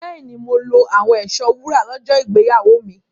Bẹ́ẹ̀ni, mo lo àwọn ẹ̀ṣọ́ wúrà lọ́jọ́ ìgbéyàwó mi.